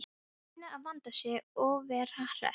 Hann reynir að vanda sig og vera hress.